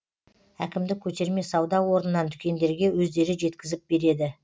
әкімдік көтерме сауда орнынан дүкендерге өздері жеткізіп береді